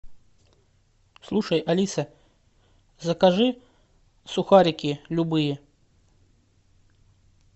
слушай алиса закажи сухарики любые